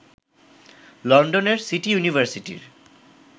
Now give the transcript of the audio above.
লন্ডনের সিটি ইউনিভার্সিটির